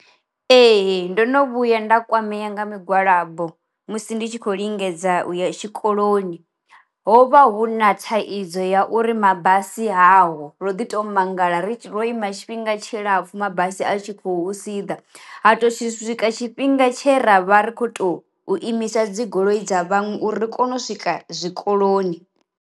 Ee ndono vhuya nda kwamea nga migwalabo musi ndi tshi khou lingedza u ya tshikoloni. Ho vha hu na thaidzo ya uri mabasi haho ro ḓi to mangala ri ro ima tshifhinga tshilapfhu mabasi a tshi khou siḓa, ha to tshi swika tshifhinga tshe ravha ri kho to u imisa dzigoloi dza vhaṅwe uri ri kone u swika zwi koloni.